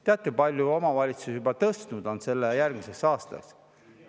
Teate, kui palju omavalitsused juba tõstnud on selle järgmiseks aastaks?